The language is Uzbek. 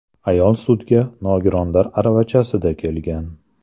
Ayol sudga nogironlar aravachasida kelgan.